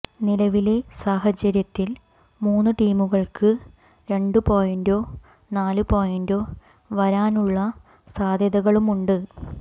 നിലവിലെ സാഹചര്യത്തിൽ മൂന്ന് ടീമുകൾക്ക് രണ്ടു പോയിന്റോ നാലു പോയിന്റോ വരാനുള്ള സാധ്യതകളുമുണ്ട്